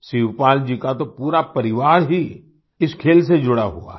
शिवपाल जी का तो पूरा परिवार ही इस खेल से जुड़ा हुआ है